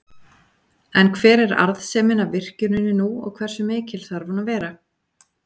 En hver er arðsemin af virkjuninni nú og hversu mikil þarf hún að vera?